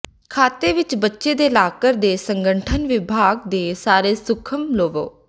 ਖਾਤੇ ਵਿੱਚ ਬੱਚੇ ਦੇ ਲਾਕਰ ਦੇ ਸੰਗਠਨ ਵਿਭਾਗ ਦੇ ਸਾਰੇ ਸੂਖਮ ਲਵੋ